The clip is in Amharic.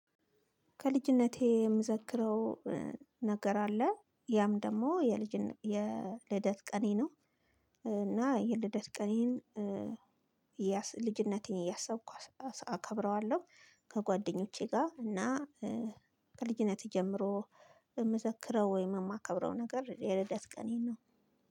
ከልጅነቴ የምዘክረው ነገር አለ ይህም ደግሞ የልጅነት የልደት ቀኔ ነው። እና የልደት ቀኔን ልጅነቴን እያሰብኩኝ አስ አከብረዋለሁ። ከጓደኞቼ ጋር እና። ከልጅነቴ ጀምሮ የሚዘክረው ወይም የማከብረው ነገር የልደት ቀኔን ነው።